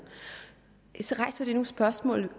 så rejser det nogle spørgsmål